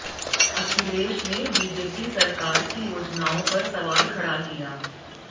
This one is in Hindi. अखिलेश ने बीजेपी सरकार की योजनाओं पर सवाल खड़ा किया